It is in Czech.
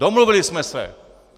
Domluvili jsme se.